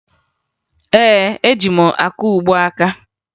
Ee, eji m akaụgbọ aka